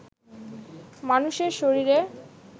মানুষের শরীরে